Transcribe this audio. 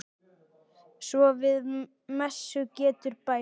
Svo við messu getur bæst.